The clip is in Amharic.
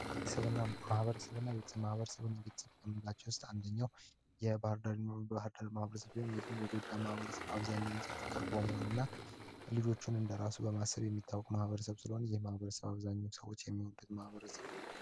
ቤተሰብና ማህበረሰብ እና ቤተሰብና ማህበረሰብን ቤተሰብ ከምንላቸው ውስጥ አንደኛው የባህርዳር ማህበረሰብ ሲሆን ይህም የጎጃም ማህበረሰብ አብዛኛ ጊዜ ፍቅር በመሆን እና ልጆቹን እንደ ራሱ በማሰብ የሚታወቅ ማህበረሰብ ስለሆን ይህ ማህበረሰብ አብዛኛ ሰዎች የሚወደድ ማህበረሰብ ነው።